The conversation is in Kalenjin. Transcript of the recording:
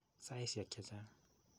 Saisiek che chang'.